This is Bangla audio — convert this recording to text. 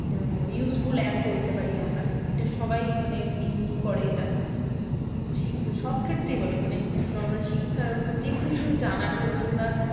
উম useful app বলতে পারি আমরা। এটা সবাই মানে use করে এটা। সবক্ষেত্রেই বোলো মানে normal শিক্ষা উম যে কিছু জানার হোক কিংবা